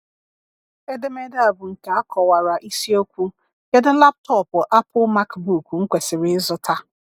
Edemede a bụ nke akọwara isi okwu"Kedu laptọọpụ Apple MacBook m kwesịrị ịzụta?"